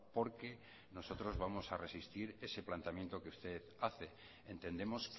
porque nosotros vamos a resistir ese planteamiento que usted hace entendemos